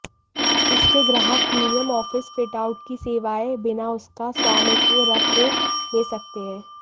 इसके ग्राहक premium office fit out की सेवाएं बिना उनका स्वामित्व रखे ले सकते हैं